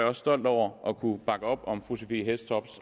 også stolt over at kunne bakke op om fru sophie hæstorp